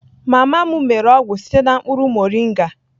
Mama m mere ọgwụ site na mkpụrụ moringa